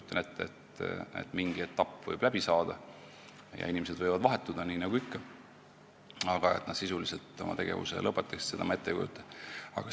Ma kujutan ette, et mingi etapp võib läbi saada ja inimesed võivad vahetuda, nii nagu ikka, aga et nad sisuliselt oma tegevuse lõpetaksid, seda ma ette ei kujuta.